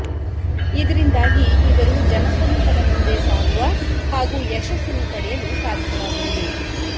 ಇದರಿಂದಾಗಿ ಇವರು ಜನಸಮೂಹದ ಮುಂದೆ ಸಾಗುವ ಹಾಗೂ ಯಶಸ್ಸನ್ನು ಪಡೆಯಲು ಸಾಧ್ಯವಾಗುವುದು